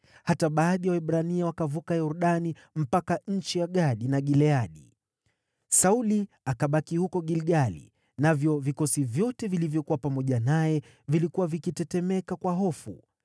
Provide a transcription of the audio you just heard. Hata baadhi ya Waebrania wakavuka Yordani mpaka nchi ya Gadi na Gileadi. Sauli akabaki huko Gilgali, navyo vikosi vyote vilivyokuwa pamoja naye vilikuwa vikitetemeka kwa hofu.